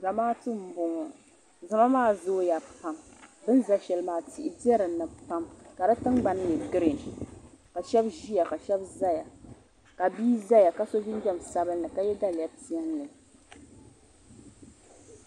Zamaatu m boŋɔ zama maa zooya pam bini za shɛli maa tihi be dinni pam ka di tingbani nyɛ girin ka shɛba ʒia ka shɛba zaya ka bia zaya ka so jinjiɛm sabinli ka ye daliya piɛlli.